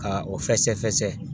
Ka o fɛsɛ fɛsɛ